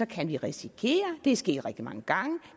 kan vi risikere det er sket rigtig mange gange